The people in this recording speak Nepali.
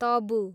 तबु